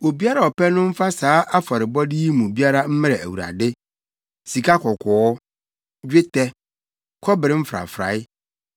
Obiara a ɔpɛ no mfa saa afɔrebɔde yi mu biara mmrɛ Awurade: “Sikakɔkɔɔ, dwetɛ, kɔbere mfrafrae;